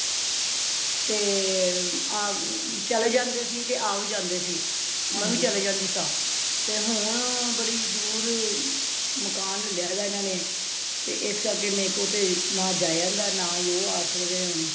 ਤੇ ਚਲੇ ਵੀ ਜਾਂਦੇ ਸੀ ਤੇ ਆ ਵੀ ਜਾਂਦੇ ਸੀ ਮੈਂ ਵੀ ਚਲੇ ਜਾਂਦੀ ਸਾ ਤੇ ਹੁਣ ਬੜੀ ਦੂਰ ਮਕਾਨ ਲਾਲੀਆਂ ਦਾ ਹਨ ਨੇ ਤੇ ਇਸ ਕਰਕੇ ਮੇਰੇ ਕੋਲ ਤੇ ਨਾ ਜਾਯਾ ਜਾਂਦਾ ਤੇ ਨਾ ਉਹ ਆ ਸਕਦੇ ਨੇ ਹੁਣ